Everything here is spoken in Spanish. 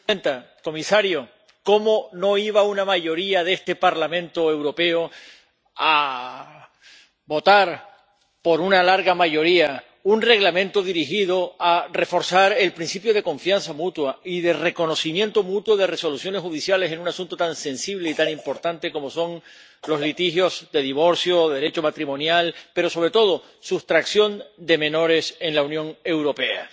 Señora presidenta, señor comisario, ¿cómo no iba una mayoría de este Parlamento Europeo a aprobar, por una amplia mayoría, un Reglamento dirigido a reforzar el principio de confianza mutua y de reconocimiento mutuo de resoluciones judiciales en un asunto tan sensible y tan importante como son los litigios de divorcio o de Derecho matrimonial, pero, sobre todo, la sustracción de menores en la Unión Europea?